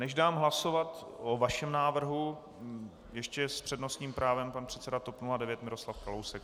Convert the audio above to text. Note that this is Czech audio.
Než dám hlasovat o vašem návrhu, ještě s přednostním právem pan předseda TOP 09 Miroslav Kalousek.